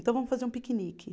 Então vamos fazer um piquenique.